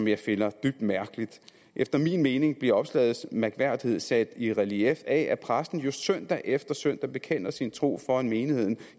jeg finder dybt mærkelig efter min mening bliver opslagets mærkværdighed sat i relief af at præsten jo søndag efter søndag bekender sin tro foran menigheden